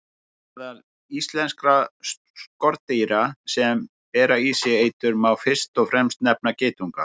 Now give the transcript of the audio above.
Meðal íslenskra skordýra sem bera í sér eitur má fyrst og fremst nefna geitunga.